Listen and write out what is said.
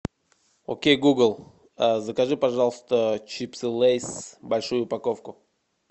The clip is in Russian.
окей гугл закажи пожалуйста чипсы лейс большую упаковку